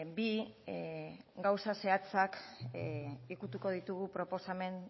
bi gauza zehatzak ukituko ditugu